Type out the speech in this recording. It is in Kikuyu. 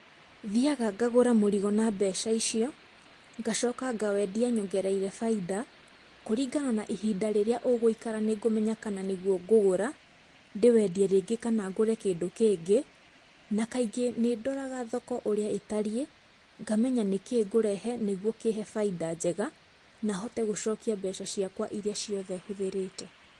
Thiaga ngagũra mũrigo na mbeca icio, ngacoka ngawendia nyongereire baida, kũlingana na ihinda rĩrĩia ũgũikara nĩngũmenya kana nĩguo ngũgũra, ndĩwendie rĩngĩ kana ngũre kĩndũ kĩngĩ, na kaingĩ nĩndoraga thoko ũrĩa ĩtariĩ, ngamenya nĩkĩĩ ngũrehe nĩguo kĩhe baida njega, na hote gũcokia mbeca ciakwa iria ciothe hũthĩrĩte.